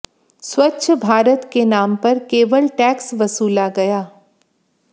स्वच्छ भारत के नाम पर केवल टैक्स वसूला गया